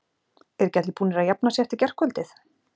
Eru ekki allir búnir að jafna sig eftir gærkvöldið?